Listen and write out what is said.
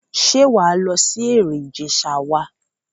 Ṣé wà á lọ sí Ẹ̀rìn Ìjẹ̀ṣà wa?